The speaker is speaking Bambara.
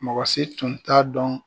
Mɔgɔ si tun t'a dɔn